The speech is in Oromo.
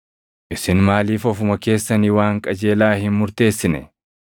“Isin maaliif ofuma keessanii waan qajeelaa hin murteessine?